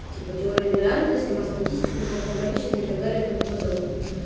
типа теория вероятности мат статистику в каком количестве и так далее и тому подобное